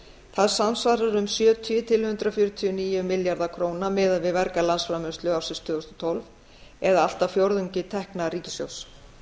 það samsvarar um sjötíu til hundrað fjörutíu og níu milljarða króna miðað við verga landsframleiðslu ársins tvö þúsund og tólf eða allt að fjórðungi tekna ríkissjóðs